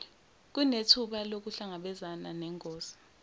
kunethuba lokuhlangabezana nengozi